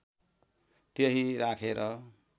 त्यही राखेर